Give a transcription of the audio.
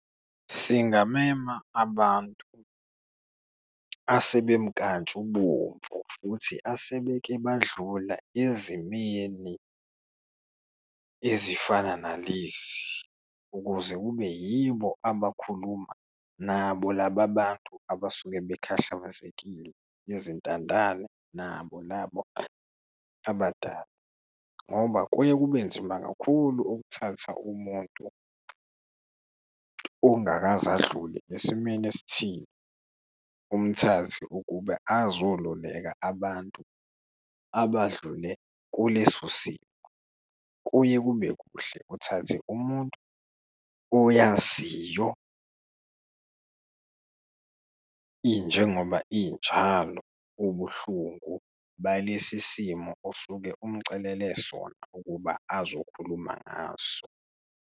Singameme abantu asebemkantshubomvu futhi asebeke badlula ezimeni ezifana nalezi ukuze kube yibo abakhuluma nabo laba bantu abasuke bakhahlabesekile, izintandane nabo labo abadala. Ngoba kuye kube nzima kakhulu ukuthatha umuntu ongakaze adlule esimeni esithile, umthathe ukube azoluleka abantu abadlule kuleso simo. Kuye kube kuhle uthathe umuntu oyaziyo injengoba injalo ubuhlungu balesisimo osuke umcelele sona ukuba azokhuluma ngaso.